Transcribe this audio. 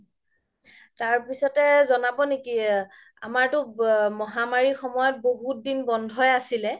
তাৰ পিছ্তে জ্নাব নেকি আমাৰতো ম্হা মাৰিৰ সময়ত বহুত দিন বন্ধয়ে আছিলে